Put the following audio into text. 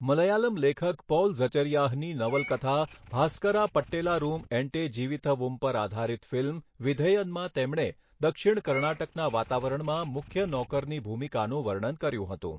મલયાલમ લેખક પૌલ ઝચરિયાહની નવલકથા ભાસ્કરા પટ્ટેલારૂમ એન્ટે જીવિથવુમ પર આધારિત ફિલ્મ વિધેયનમાં તેમણે દક્ષિણ કર્ણાટકના વાતાવરણમાં મુખ્ય નોકરની ભૂમિકાનું વર્ણન કર્યું હતું.